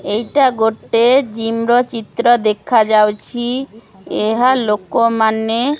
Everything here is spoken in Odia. ଏଇଟା ଗୋଟେ ଜିମ ର ଚିତ୍ର ଦେଖାଯାଉଛି ଏହା ଲୋକମାନେ--